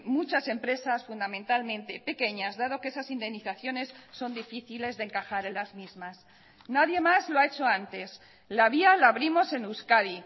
muchas empresas fundamentalmente pequeñas dado que esas indemnizaciones son difíciles de encajar en las mismas nadie más lo ha hecho antes la vía la abrimos en euskadi